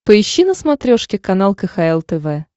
поищи на смотрешке канал кхл тв